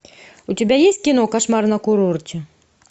у тебя есть кино кошмар на курорте